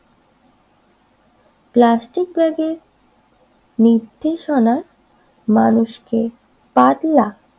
plastic ব্যাগের নির্দেশনার মানুষকে পাতলা